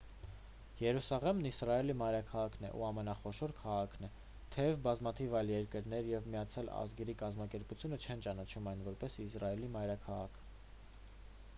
երուսաղեմն իսրայելի մայրաքաղաքն ու ամենախոշոր քաղաքն է թեև բազմաթիվ այլ երկրներ և միացյալ ազգերի կազմակերպությունը չեն ճանաչում այն որպես իսրայելի մայրաքաղաք